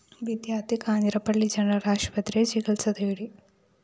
വിദ്യാര്‍ത്ഥി കാഞ്ഞിരപ്പള്ളി ജനറൽ ആശുപത്രിയില്‍ ചികിത്സ തേടി